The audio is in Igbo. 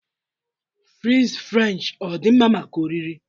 fries french ọ dị mma maka oriri?